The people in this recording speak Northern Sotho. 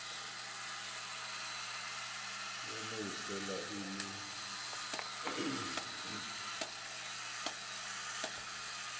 ya no fela e le